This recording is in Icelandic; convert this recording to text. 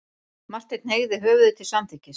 Marteinn hneigði höfðið til samþykkis.